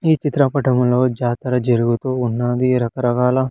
ఈ చిత్ర పటములో జాతర జరుగుతూ ఉన్నది రకరకాల.